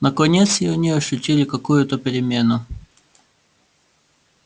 наконец и они ощутили какую-то перемену